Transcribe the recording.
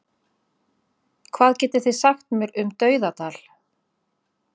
Hvað getið þið sagt mér um Dauðadal?